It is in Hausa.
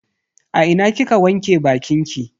A ina kika wanke bakinki?